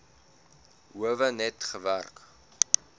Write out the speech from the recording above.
howe net gewerk